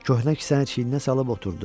Köhnə kisəni çiyninə salıb oturdu.